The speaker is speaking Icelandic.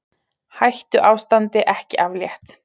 Hættuástandi ekki aflétt